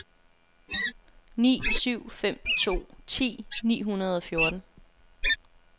ni syv fem to ti ni hundrede og fjorten